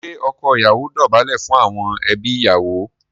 Ṣé ọkọ ìyàwó dọ̀bálẹ̀ fún àwọn ẹbí ìyàwó?